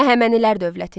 Əhəmənilər dövləti.